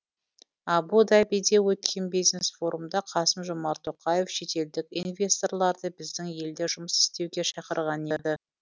абу дабиде өткен бизнес форумда қасым жомарт тоқаев шетелдік инвесторларды біздің елде жұмыс істеуге шақырған еді